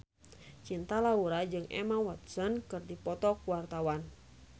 Cinta Laura jeung Emma Watson keur dipoto ku wartawan